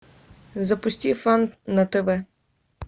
запусти фан на тв